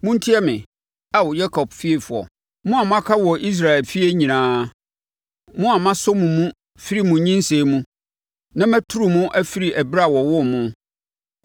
“Montie me, Ao Yakob fiefoɔ, mo a moaka wɔ Israel efie nyinaa, mo a masɔ mo mu firi mo nyinsɛn mu, na maturu mo afiri ɛberɛ a wɔwoo mo.